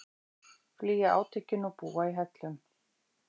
Flýja átökin og búa í hellum